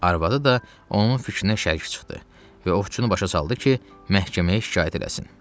Arvadı da onun fikrinə şərik çıxdı və ovçunu başa saldı ki, məhkəməyə şikayət eləsin.